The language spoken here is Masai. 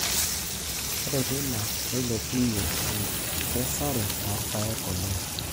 Ore teina neilepunye enkesare oo rpayek oleng.